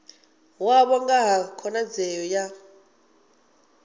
wavho nga ha khonadzeo ya